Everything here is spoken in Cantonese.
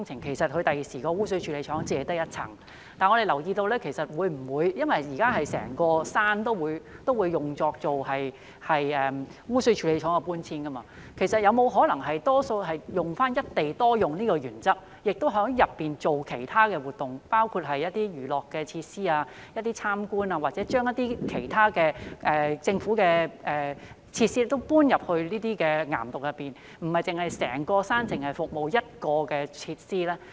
其實未來污水處理廠只有一層，但我們留意到，因為現時整座山都會用作污水處理廠的搬遷，其實有沒有可能使用"一地多用"的原則，在當中做其他活動，包括娛樂設施、開放參觀或把政府的其他設施搬進岩洞，讓整座山不止服務一種設施？